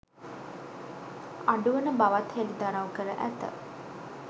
අඩුවන බවත් හෙළිදරව් කර ඇත